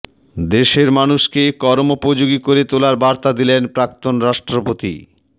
দেশের মানুষকে কর্মোপযোগী করে তোলার বার্তা দিলেন প্রাক্তন রাষ্ট্রপতি